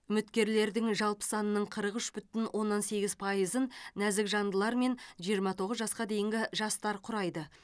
үміткерлердің жалпы санының қырық үш бүтін оннан сегіз пайызын нәзік жандылар мен жиырма тоғыз жасқа дейінгі жастар құрайды